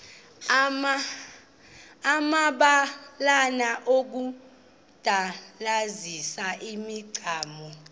amabalana okudandalazisa imicamango